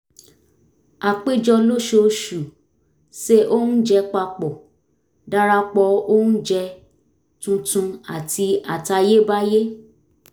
a péjọ lóṣooṣù se oúnjẹ papọ̀ darapọ̀ oúnjẹ tuntun àti àtayébáyé